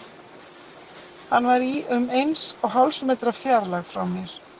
Hann var í um eins og hálfs metra fjarlægð frá mér.